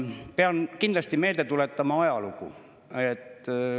Pean kindlasti meelde tuletama ajalugu.